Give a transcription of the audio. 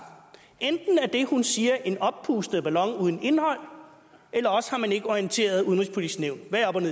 enten er det hun siger en oppustet ballon uden indhold eller også har man ikke orienteret udenrigspolitisk nævn